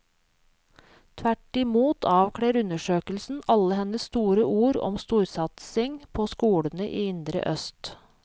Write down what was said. Tvert i mot avkler undersøkelsen alle hennes store ord om storsatsing på skolene i indre øst.